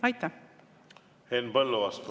Henn Põlluaas, palun!